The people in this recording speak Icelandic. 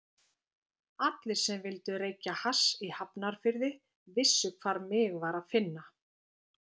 Allir sem vildu reykja hass í Hafnarfirði vissu hvar mig var að finna.